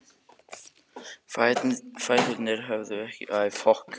Fæturnir höfðu ekkert lengst, aðeins kreppst.